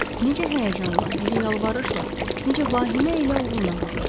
Necə həyəcanla, necə yalvarışla, necə vahimə ilə oğluna baxırdı!